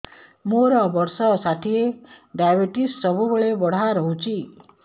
ମୋର ବର୍ଷ ଷାଠିଏ ଡାଏବେଟିସ ସବୁବେଳ ବଢ଼ା ରହୁଛି